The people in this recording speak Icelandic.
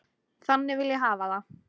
Þannig vil ég hafa það.